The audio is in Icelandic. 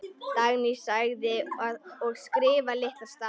Dagný: Og skrifa litla stafi.